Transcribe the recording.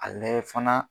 A layɛ fana